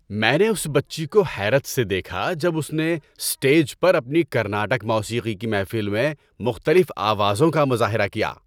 میں نے اس بچی کو حیرت سے دیکھا جب اس نے اسٹیج پر اپنی کرناٹک موسیقی کی محفل میں مختلف آوازوں کا مظاہرہ کیا۔